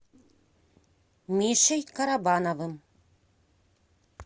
мишей карабановым